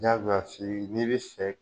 Jagoya f'i ye n'i bi fɛ